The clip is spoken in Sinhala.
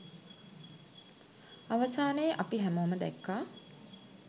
අවසානයේ අපි හැමෝම දැක්කා